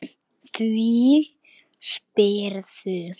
Því spyrðu?